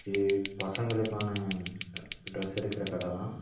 இது பசங்களுக்கான டிரஸ் எடுக்குற கட தா.